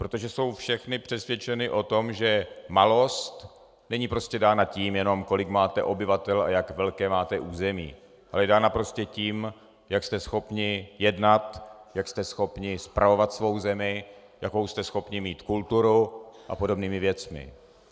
Protože jsou všechny přesvědčeny o tom, že malost není prostě dána tím jenom, kolik máte obyvatel a jak velké máte území, ale je dána prostě tím, jak jste schopni jednat, jak jste schopni spravovat svou zemi, jakou jste schopni mít kulturu a podobnými věcmi.